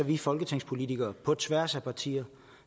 vi folketingspolitikere på tværs af partier